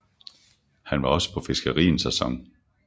Han var også på fiskeri en sæson